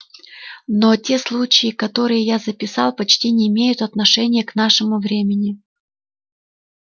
но те случаи которые я записал почти не имеют отношения к нашему времени